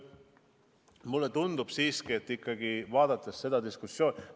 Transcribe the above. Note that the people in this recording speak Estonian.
Mulle tundub siiski, et vaadates seda diskussiooni ...